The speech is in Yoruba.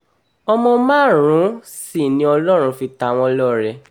ọmọ márùn-ún sì ni ọlọ́run fi ta wọ́n lọ́rẹ